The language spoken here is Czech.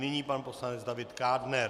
Nyní pan poslanec David Kádner.